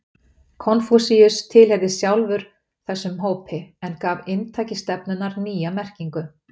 Konfúsíus tilheyrði sjálfur þessum hópi en gaf inntaki stefnunnar nýja merkingu.